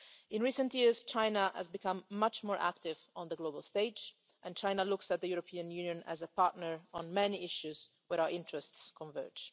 In recent years, China has become much more active on the global stage and China looks to the European Union as a partner on many issues where our interests converge.